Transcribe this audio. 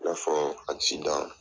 kɔfɛ